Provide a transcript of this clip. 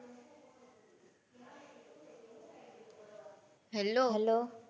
Hello, hello?